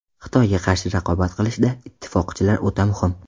Xitoyga qarshi raqobat qilishda, ittifoqchilar o‘ta muhim.